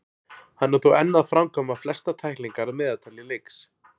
Hann er þó enn að framkvæma flestar tæklingar að meðaltali í leiks.